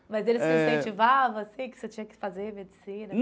Mas eles te incentivavam, assim, que você tinha que fazer medicina?